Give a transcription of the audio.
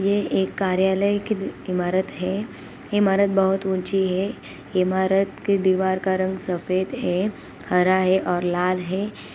यह एक कार्यालय की इमारत है| इमारत बहुत ऊंची है इमारत की दीवार का रंग सफेद है हरा है और लाल है।